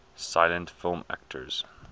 silent film actors